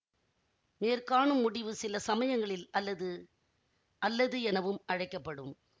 மேற்காணும் முடிவு சிலசமயங்களில் அல்லது அல்லது எனவும் அழைக்க படும்